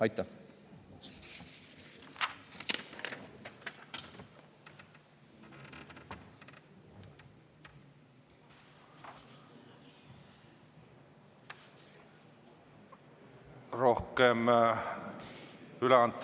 Aitäh!